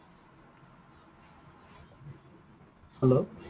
Hello